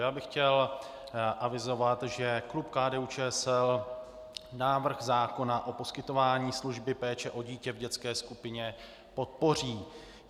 Já bych chtěl avizovat, že klub KDU-ČSL návrh zákona o poskytování služby péče o dítě v dětské skupině podpoří.